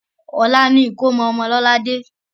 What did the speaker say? Ọ̀la ni ìkómọ ọmọ Lọ́ládé.